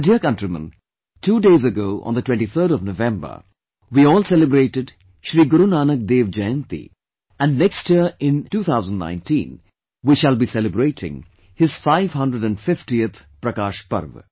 My dear countrymen, two days back on 23rd November, we all celebrated Shri Guru Nanak Dev Jayanti and next year in 2019 we shall be celebrating his 550th Prakash Parv